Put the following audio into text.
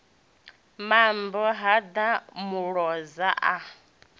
mambo ha ḓa muloza a